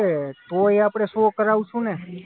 હશે તો અહીંયા શૉ કરાવશું ને?